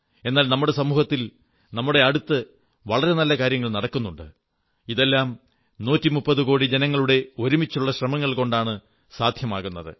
എന്നാൽ നമ്മുടെ സമൂഹത്തിൽ നമ്മുടെ അടുത്ത് വളരെ നല്ല കാര്യങ്ങൾ നടക്കുന്നുണ്ട് ഇതെല്ലാം 130 കോടി ജനങ്ങളുടെ ഒരുമിച്ചുള്ള ശ്രമങ്ങൾ കൊണ്ടാണ് സാധ്യമാകുന്നത്